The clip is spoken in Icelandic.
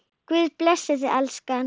Guð blessi þig, elskan.